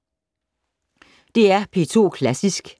DR P2 Klassisk